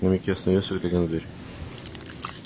на миг я остановился глядя на дверь